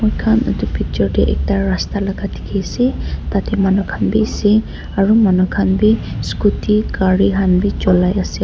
mokhan edu picture tae ekta rasta laka dikhiase tatae manu khan biase aru manu khan bi scooty gari khan bi cholai ase.